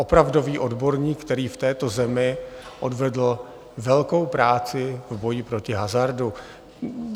Opravdový odborník, který v této zemi odvedl velkou práci v boji proti hazardu.